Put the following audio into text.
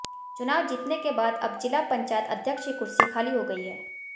चुनाव जीतने के बाद अब जिला पंचायत अध्यक्ष की कुर्सी खाली हो गई है